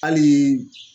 Hali